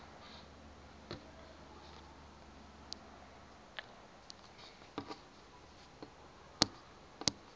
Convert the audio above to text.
ngale ndlela ingxolo